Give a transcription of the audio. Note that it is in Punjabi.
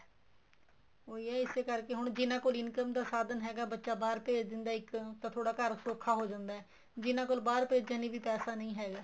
ਉਹੀ ਹੈ ਇਸੇ ਕਰਕੇ ਹੁਣ ਜਿਹਨਾ ਕੋਲ income ਦਾ ਸਾਧਨ ਹੈਗਾ ਬੱਚਾ ਬਹਾਰ ਭੇਜ ਦਿੰਦਾ ਏ ਇੱਕ ਤਾਂ ਥੋੜਾ ਘਰ ਸੋਖਾ ਹੋ ਜਾਂਦਾ ਏ ਜਿਹਨਾ ਕੋਲ ਬਹਾਰ ਭੇਜਣ ਲਈ ਵੀ ਪੈਸਾ ਨਹੀਂ ਹੈਗਾ